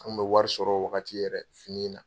An bɛ wari sɔrɔ o wagati yɛrɛ, fini na.